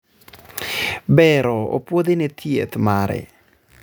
bero opuodhi ne thieth mare